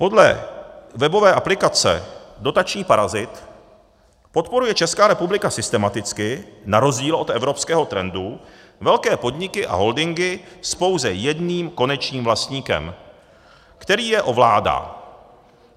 Podle webové aplikace Dotační parazit podporuje Česká republika systematicky na rozdíl od evropského trendu velké podniky a holdingy s pouze jedním konečným vlastníkem, který je ovládá.